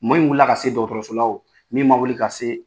Mɔɔ min wili ka se dɔgɔtɔrɔso la o min ma wuli ka se